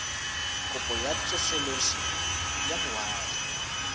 kopo ya tsosoloso ya boagi